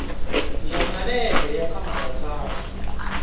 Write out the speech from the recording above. ya malege ya kamara tharu